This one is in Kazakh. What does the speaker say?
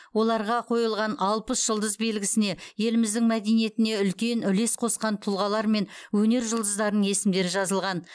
оларға қойылған алпыс жұлдыз белгісіне еліміздің мәдениетіне үлкен үлес қосқан тұлғалар мен өнер жұлдыздарының есімдері жазылған